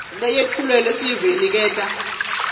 leyetfulelwa sive iniketa